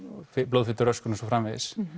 blóðfituröskun og svo framvegis